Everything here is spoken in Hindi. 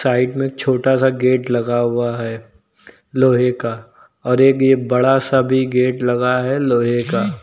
साइड में एक छोटा सा गेट लगा हुआ है लोहे का और एक यह बड़ा सा भी गेट लगा है लोहे का।